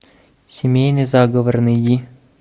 семейный заговор найди